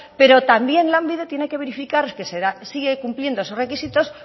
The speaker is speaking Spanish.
pero también lanbide tiene que verificar que sigue cumpliendo esos requisitos